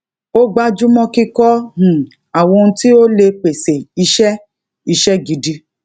ó gbájúmọ kíkọ um àwọn ohun tí ó lè pèsè iṣẹ iṣẹ gidi